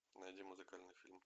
найди музыкальный фильм